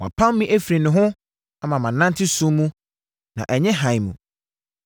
Wapam me afiri ne ho ama manante sum mu na ɛnyɛ hann mu;